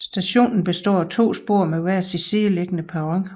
Stationen består af to spor med hver sin sideliggende perron